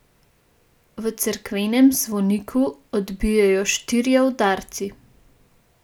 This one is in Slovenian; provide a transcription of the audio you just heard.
V cerkvenem zvoniku odbijejo štirje udarci.